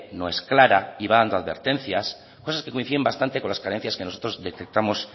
no es más clara y va dando advertencias cosas que coinciden bastante con las carencias que nosotros detectamos